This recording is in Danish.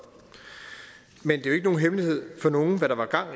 men det jo ikke nogen hemmelighed for nogen hvad der var gang